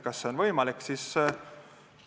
Kas see on võimalik?